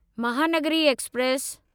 Mahanagari express